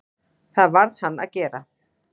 Það varð hann að gera.